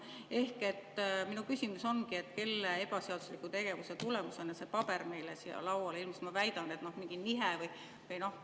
Ehk minu küsimus ongi, kelle ebaseadusliku tegevuse tulemusena see paber meile siia lauale on ilmunud.